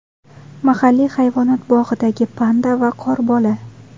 Mahalliy hayvonot bog‘idagi panda va qorbola.